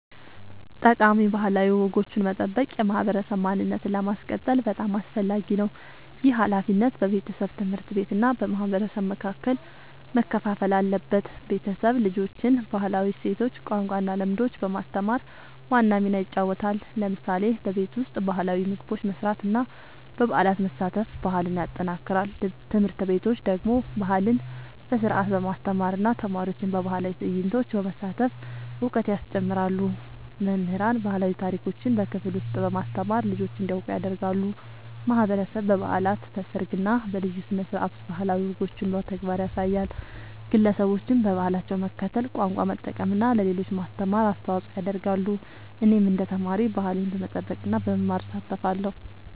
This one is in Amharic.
ጠቃሚ ባህላዊ ወጎችን መጠበቅ የማህበረሰብ ማንነትን ለማስቀጠል በጣም አስፈላጊ ነው። ይህ ሃላፊነት በቤተሰብ፣ ትምህርት ቤት እና በማህበረሰብ መካከል መከፋፈል አለበት። ቤተሰብ ልጆችን ባህላዊ እሴቶች፣ ቋንቋ እና ልምዶች በማስተማር ዋና ሚና ይጫወታል። ለምሳሌ በቤት ውስጥ ባህላዊ ምግቦች መስራት እና በበዓላት መሳተፍ ባህልን ያጠናክራል። ትምህርት ቤቶች ደግሞ ባህልን በስርዓት በማስተማር እና ተማሪዎችን በባህላዊ ትዕይንቶች በማሳተፍ እውቀት ያስጨምራሉ። መምህራን ባህላዊ ታሪኮችን በክፍል ውስጥ በማስተማር ልጆች እንዲያውቁ ያደርጋሉ። ማህበረሰብ በበዓላት፣ በሰርግ እና በልዩ ስነ-ስርዓቶች ባህላዊ ወጎችን በተግባር ያሳያል። ግለሰቦችም በባህላቸው መከተል፣ ቋንቋ መጠቀም እና ለሌሎች ማስተማር አስተዋጽኦ ያደርጋሉ። እኔም እንደ ተማሪ ባህሌን በመጠበቅ እና በመማር እሳተፋለሁ።